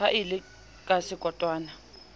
ha e le ka sekotwana